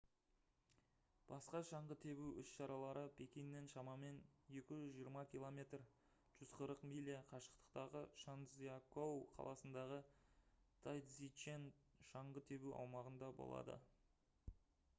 басқа шаңғы тебу іс-шаралары пекиннен шамамен 220 км 140 миля қашықтықтағы чжанцзякоу қаласындағы тайцзичен шаңғы тебу аумағында болады